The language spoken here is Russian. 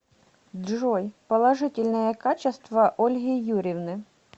джой положительные качества ольги юрьевны